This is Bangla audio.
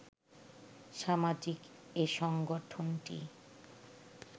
সামাজিক এ সংগঠনটি